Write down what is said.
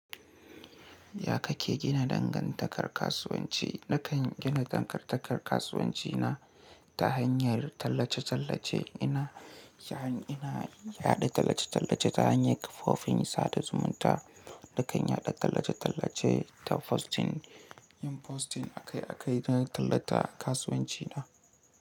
Ya kake gina dangantakar kasuwanci? Nakan gina dangantakar kasuwanci na ta hanyar tallace-tallace. Ina, yayin ina yaɗa tallace-tallace ta hanyar kafofin sada zumunta, dakan yaɗa tallace-tallace ta posting, yin posting akai-akai don tallata kasuwanci na.